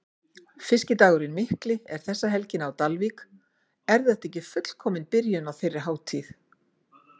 Fiskidagurinn Mikli er þessa helgina á Dalvík, er þetta ekki fullkomin byrjun á þeirri hátíð?